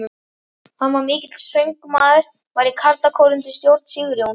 Hann var mikill söngmaður, var í karlakór undir stjórn Sigurjóns